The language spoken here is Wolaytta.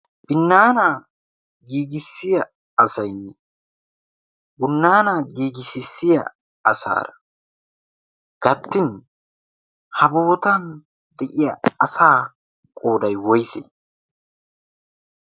binnaanaa giigissiya asay bunnaanaa giigisissiya asaa kattin ha bootan de'iya asaa qooday woyse?